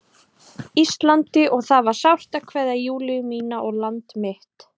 Íslandi og það var sárt að kveðja Júlíu mína og land mitt.